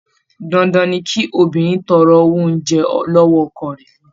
Dandan ni kí obìnrin ó tọrọ owó oúnjẹ lọ́wọ́ ọkọ rẹ̀.